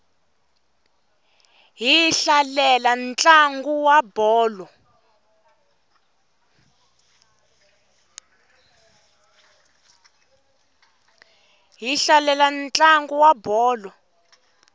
hi hlalela ntlangu wa bolo